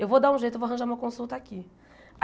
Eu vou dar um jeito, eu vou arranjar uma consulta aqui.